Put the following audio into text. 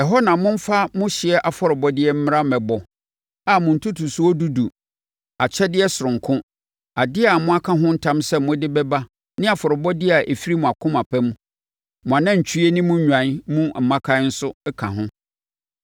Ɛhɔ na momfa mo hyeɛ afɔrebɔdeɛ mmra mmɛbɔ a mo ntotosoɔ dudu, akyɛdeɛ sononko, adeɛ a moaka ho ntam sɛ mode bɛba ne afɔrebɔdeɛ a ɛfiri akoma pa mu, mo anantwie ne mo nnwan mu mmakan nso ka ho.